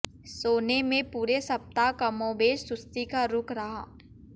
सोने में पूरे सप्ताह कमोबेश सुस्ती का रुख रहा